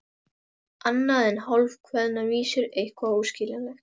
Annað en hálfkveðnar vísur, eitthvað óskiljanlegt.